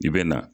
I bɛ na